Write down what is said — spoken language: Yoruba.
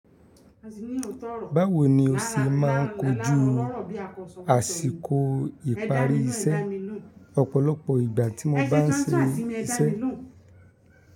Báwo ni o ṣe máà ń kojú àsìkò ìparí iṣẹ́ ọ̀pọ̀lọpọ̀ ìgbà tí mo bá ń ṣe iṣẹ́?